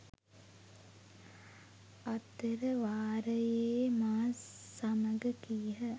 අතරවාරයේ මා සමඟ කීහ.